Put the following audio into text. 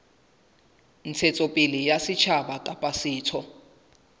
ntshetsopele ya setjhaba kapa setho